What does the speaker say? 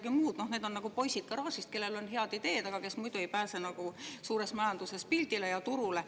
Neid poisid garaažist, kellel on head ideed, aga kes muidu ei pääse suures majanduses pildile ja turule.